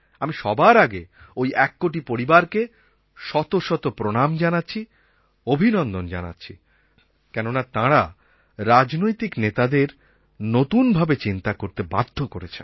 আমি সবার আগে ঐ এক কোটি পরিবারকে শত শত প্রণাম জানাচ্ছি অভিনন্দন জানাচ্ছি কেননা তাঁরা রাজনৈতিক নেতাদের নতুনভাবে চিন্তা করতে বাধ্য করেছেন